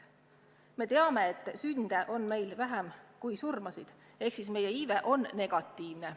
Me teame, et sünde on Eestis vähem kui surmasid ehk siis meie iive on negatiivne.